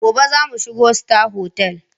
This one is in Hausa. Gobe za mu shiga Star Hotel.